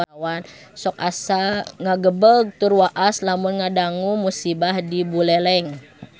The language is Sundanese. Sok asa ngagebeg tur waas lamun ngadangu musibah di Buleleng